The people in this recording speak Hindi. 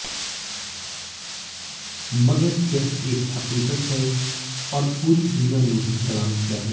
मगर यह एक हकीकत है और पूरी दुनिया ने उन्हें सलाम किया है